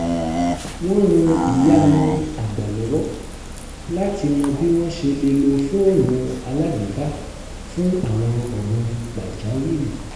wọ́n ran ìyá wọn àgbà lọ́wọ́ láti mọ bí wọ́n ṣe lè lo fóònù alágbèéká fún àwọn ọ̀ràn pàjáwìrì